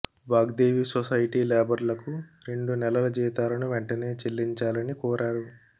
Vagdevi society లేబర్లకు రెండు నెలల జీతాలను వెంటనే చెల్లించాలని కోరారు